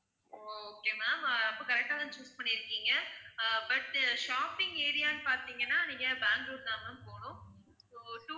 ஓ okay ma'am அப்ப correct ஆ தான் choose பண்ணி இருக்கீங்க அஹ் but shopping area ன்னு பார்த்தீங்கன்னா நீங்க பேங்களுர் தான் ma'am போகனும் so